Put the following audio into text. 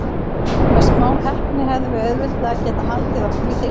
Með smá heppni hefðum við auðveldlega getað haldið okkur í deildinni.